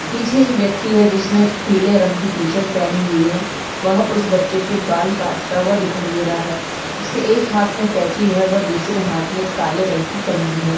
पीछे एक व्यक्ति है जिसने पीले रंग की टी शर्ट पहनी हुई है वह उस बच्छे की बाल काटता हुआ दिखाई दे रहा है उसके एक हात मे कैंची है व दूसरे हात में काले रंग की कंगी है।